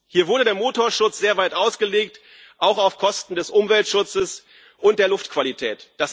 Hier wurde der Motorschutz sehr weit ausgelegt, auch auf Kosten des Umweltschutzes und der Luftqualität.